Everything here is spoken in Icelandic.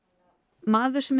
maður sem